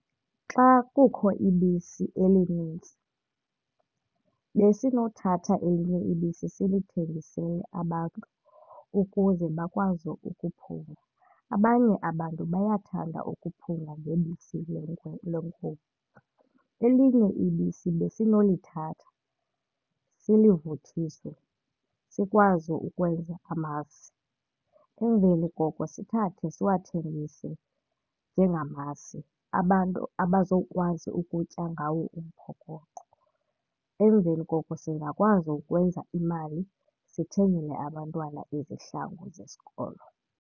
Xa kukho ibisi elinintsi besinothatha elinye ibisi silithengisele abantu ukuze bakwazi ukuphunga abanye. Abantu bayathanda ukuphunga ngebisi lenkomo. Elinye ibisi besinolithatha silivuthiswe sikwazi ukwenza amasi. Emveni koko sithathe siwathengise njengamasi abantu bazokwazi ukutya ngawo umphokoqo. Emveni koko singakwazi ukwenza imali, sithengele abantwana izihlangu zesikolo.